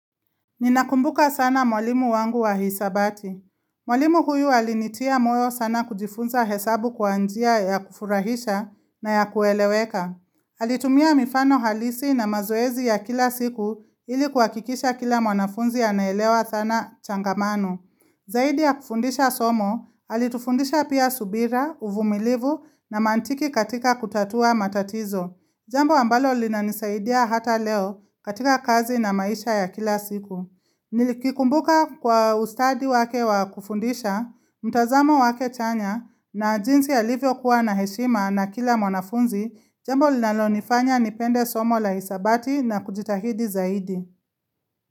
Ninakumbuka sana mwalimu wangu wa hisabati. Mwalimu huyu alinitia moyo sana kujifunza hesabu kwa njia ya kufurahisha na ya kueleweka. Alitumia mifano halisi na mazoezi ya kila siku ili kuhakikisha kila mwanafunzi anaelewa thana changamano. Zaidi ya kufundisha somo, alitufundisha pia subira, uvumilivu na mantiki katika kutatua matatizo. Jambo ambalo linanisaidia hata leo katika kazi na maisha ya kila siku. Nikikumbuka kwa ustadi wake wakufundisha, mtazamo wake chanya, na jinsi alivyo kuwa na heshima na kila mwanafunzi, jambo linalonifanya nipende somo la hisabati na kujitahidi zaidi.